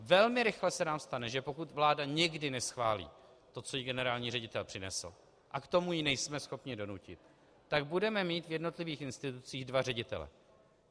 Velmi rychle se nám stane, že pokud vláda někdy neschválí to, co jí generální ředitel přinesl, a k tomu ji nejsme schopni donutit, tak budeme mít v jednotlivých institucích dva ředitele.